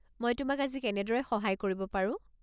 মই তোমাক আজি কেনেদৰে সহায় কৰিব পাৰো?